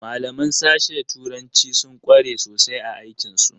Malaman sashe turanci sun kware sosai a aikin su.